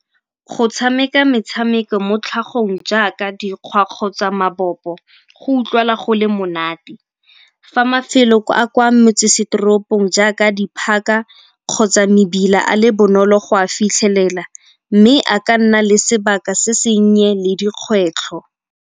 Go tshameka metshameko mo tlhagong jaaka dikgwa kgotsa mabopo go utlwala go le monate. Fa mafelo a kwa motsesetoropong jaaka di-park-a kgotsa mebila a le bonolo go a fitlhelela mme a ka nna le sebaka se senye le dikgwetlho.